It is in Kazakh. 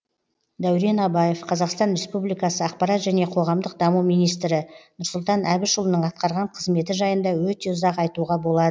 дәурен абаев қазақстан республикасы ақпарат және қоғамдық даму министрі нұрсұлтан әбішұлының атқарған қызметі жайында өте ұзақ айтуға болады